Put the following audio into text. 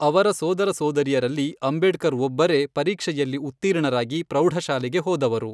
ಅವರ ಸೋದರ ಸೋದರಿಯರಲ್ಲಿ ಅಂಬೇಡ್ಕರ್ ಒಬ್ಬರೇ ಪರೀಕ್ಷೆಯಲ್ಲಿ ಉತ್ತೀರ್ಣರಾಗಿ ಪ್ರೌಢಶಾಲೆಗೆ ಹೋದವರು.